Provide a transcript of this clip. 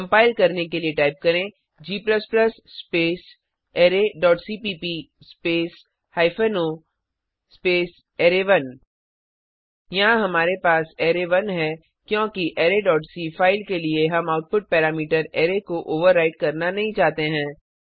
compile करने के लिए टाइप करें g space array dot cpp space hyphen o space array यहाँ हमारे पास अरै 1 है क्योंकि अराय डॉट सी फ़ाइल के लिए हम आउटपुट पैरामीटर अरै को ओवरराइट करना नहीं चाहते हैं